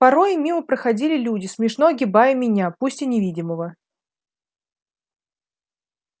порой мимо проходили люди смешно огибая меня пусть и невидимого